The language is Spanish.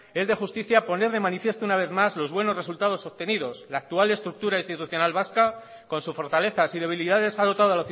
es de justicia poner de manifiesto una vez más los buenos resultados obtenidos la actual estructura institucional vasca con su fortalezas y debilidades ha dotado